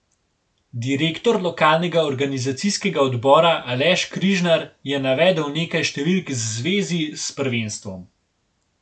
Direktor lokalnega organizacijskega odbora Aleš Križnar je navedel nekaj številk z zvezi s prvenstvom.